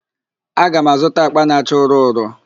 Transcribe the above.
Aga m azụta àkpà na-acha ụrọ ụrọ.